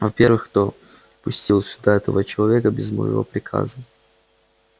во-первых кто пустил сюда этого человека без моего приказа